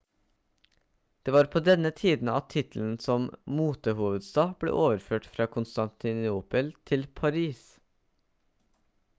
det var på denne tiden at tittelen som motehovedstad ble overført fra konstantinopel til paris